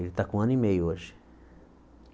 Ele está com um ano e meio hoje.